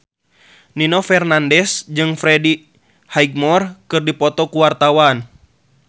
Nino Fernandez jeung Freddie Highmore keur dipoto ku wartawan